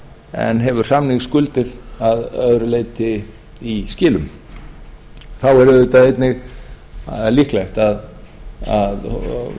en hefur samningsskuldir að öðru leyti í skilum þá er auðvitað einnig líklegt að